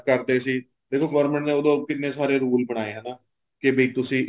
ਕਰਦੇ ਸੀ ਦੇਖੋ government ਨੇ ਉਦੋਂ ਕਿੰਨੇ ਸਾਰੇ rule ਬਣਾਏ ਏ ਹਨਾ ਕੇ ਵੀ ਤੁਸੀਂ